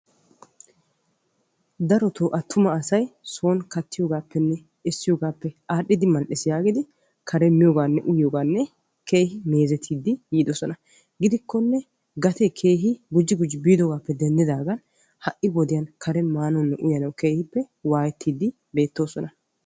darotoo atuma asay soon kattiyoogappenne essiyoogappe aadhdhidi mal''ees yaagidi karen miyooganne uyyiyooganne keehi meezetiidi yiidoosona, gidikkonne gatee kehhi gujji gujji yiidoogappe denddidaagan ha'i wodiyaa karen maanawunne uyyanaw keehin waayettiidi beettoosona.